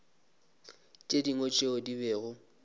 tše dingwe tšeo di bego